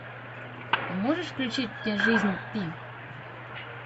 а можешь включить мне жизнь пи